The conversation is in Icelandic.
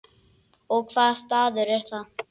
Og hvaða staður er það?